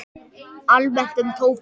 Almennt um tóbak